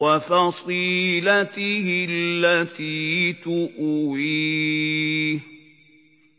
وَفَصِيلَتِهِ الَّتِي تُؤْوِيهِ